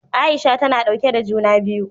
Aisha ta na ɗauke da juna biyu.